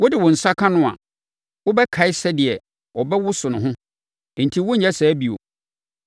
Wode wo nsa ka no a, wobɛkae sɛdeɛ ɔbɛwoso ne ho, enti worenyɛ saa bio!